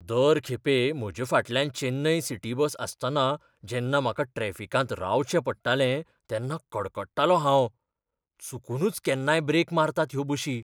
दर खेपे म्हजे फाटल्यान चेन्नई सिटी बस आसतना जेन्ना म्हाका ट्रॅफिकांत रावचें पडटालें तेन्ना कडकडटालों हांव. चुकूनच केन्नाय ब्रेक मारतात ह्यो बशी.